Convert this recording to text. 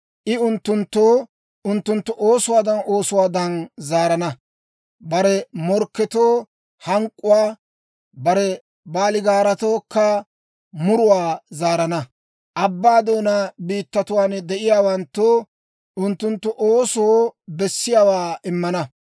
I unttunttoo unttunttu oosuwaadan oosuwaadan zaarana; bare morkketoo hank'k'uwaa, bare baaligaaratookka muruwaa zaarana. Abbaa doonaa biittatuwaan de'iyaawanttoo unttunttu oosoo bessiyaawaa immana.